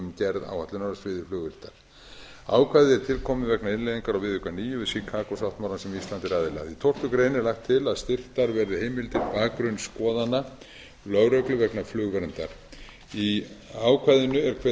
gerð áætlunar á sviði flugvirktar ákvæðið er tilkomið vegna innleiðingar á viðauka níu við chicago sáttmálann sem ísland er aðili að í tólftu grein er lagt til að styrktar verði heimildir til bakgrunnsskoðana lögreglu vegna flugverndar í ákvæðinu er kveðið á